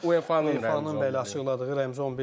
UEFA-nın bəli açıqladığı rəmzi 11-liyik.